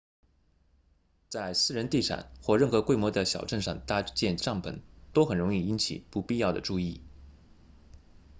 在私人地产或任何规模的小镇上搭建帐篷都很容易引起不必要的注意